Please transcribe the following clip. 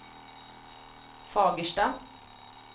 Fagersta